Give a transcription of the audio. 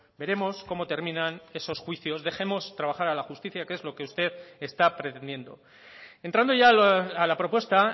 veremos cómo terminan esos juicios dejemos trabajar a la justicia que es lo que usted está pretendiendo entrando ya a la propuesta